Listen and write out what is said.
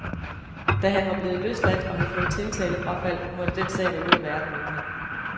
Da han var blevet løsladt og havde fået tiltalefrafald, måtte den sag være ude af verden, mente han.